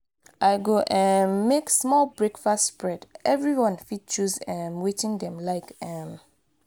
i go um make small breakfast spread; everyone fit choose um wetin dem like. um